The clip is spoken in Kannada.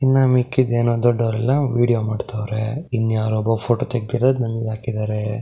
ಇನ್ನ ಮಿಕ್ಕಿದ್ ಏನೋ ದೊಡ್ಡಔರಲ್ಲ ವೇದಿಯೊ ಮಾಡ್ತಾವ್ರೆ ಇನ್ಯಾರೋ ಒಬ್ಬ ಫೋಟೋ ತೆಗ್ದಿರೋದ್ ನಂಗಾಕಿದರೆ.